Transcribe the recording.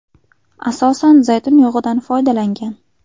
Asosan zaytun yog‘idan foydalangan.